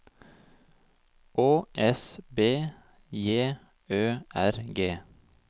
Å S B J Ø R G